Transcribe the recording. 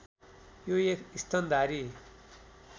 यो एक स्तनधारी